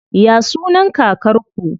Ya sunan kakar ku?